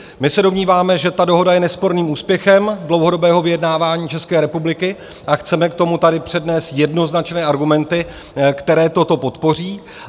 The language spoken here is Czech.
My se domníváme, že ta dohoda je nesporným úspěchem dlouhodobého vyjednávání České republiky, a chceme k tomu tady přednést jednoznačné argumenty, které toto podpoří.